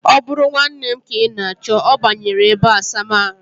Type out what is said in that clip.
O bụrụ nwanne m ka ị na-achọ, ọ banyere ebeasamaahụ